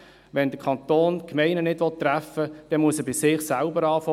Wenn der Kanton die Gemeinden nicht treffen will, dann muss er bei sich selber beginnen.